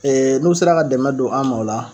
n'u sera ka dɛmɛn don an ma o la